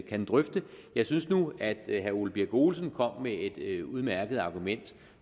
kan drøfte jeg synes nu at herre ole birk olesen kom med et udmærket argument